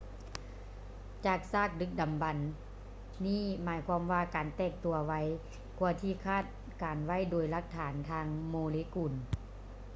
ຈາກຊາກດຶກດໍາບັນນີ້ໝາຍຄວາມວ່າການແຕກຕົວໄວກ່ວາທີ່ຄາດການໄວ້ໂດຍຫຼັກຖານທາງໂມເລກຸນ